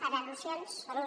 per al·lusions sí